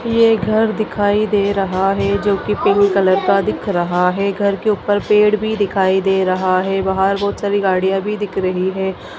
ये घर दिखाई दे रहा है जोकि पिंक कलर का दिख रहा है घर के ऊपर पेड़ भी दिखाई दे रहा है बाहर बहुत सारी गाड़ियाँ भी दिख रही है।